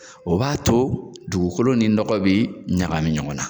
O b'a to dugukolo ni nɔgɔ be ɲagami ɲɔgɔn na.